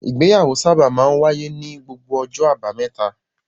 Ìgbéyàwó sábà máa ń wáyé ní gbogbo ọjọ́ àbámẹ́ta.